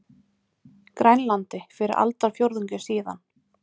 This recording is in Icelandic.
Grænlandi fyrir aldarfjórðungi síðan.